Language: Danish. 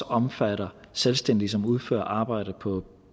omfatter selvstændige som udfører arbejde på